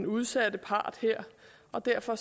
udsatte part og derfor